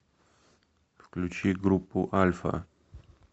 включи группу альфа